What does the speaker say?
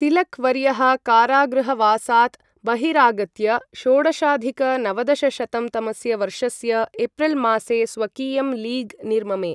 तिलक् वर्यः कारागृहवासात् बहिरागत्य षोडशाधिक नवदशशतं तमस्य वर्षस्य एप्रिल् मासे स्वकीयं लीग् निर्ममे।